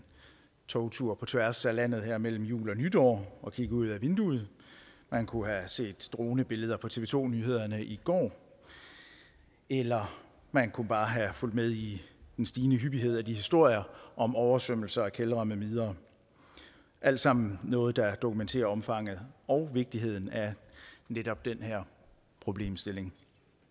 togtur på tværs af landet her mellem jul og nytår og kigge ud ad vinduet man kunne have set dronebilleder på tv to nyhederne i går eller man kunne bare have fulgt med i den stigende hyppighed af de historier om oversvømmelser af kældre med videre alt sammen noget der dokumenterer omfanget og vigtigheden af netop den her problemstilling